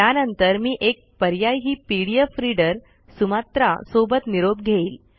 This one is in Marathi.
त्यानंतर मी एक पर्यायी पीडीएफ रीडर सुमात्रा सोबत निरोप घेईल